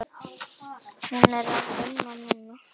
Hún er að vinna núna.